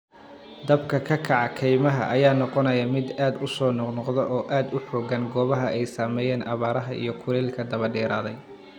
Dabka ka kaca kaymaha ayaa noqonaaya mid aad u soo noqnoqda oo aad u xoogan goobaha ay saameeyeen abaaraha iyo kulaylka daba dheeraaday.